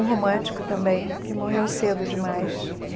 Um romântico também, que morreu cedo demais.